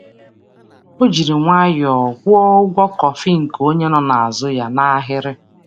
Ọ jiri nwayọọ kwụọ ụgwọ kọfị nke onye nọ n’azụ ya n’ahịrị.